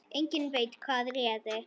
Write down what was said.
Enginn veit hvað réði.